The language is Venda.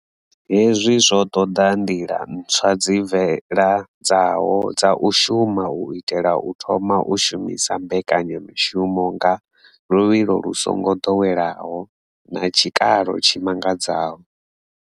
Hezwi zwo ṱoḓa nḓila ntswa dzi bveledzaho dza u shuma u itela u thoma u shumisa mbekanya mushumo nga luvhilo lu songo ḓoweleaho na tshikalo tshi mangadzaho.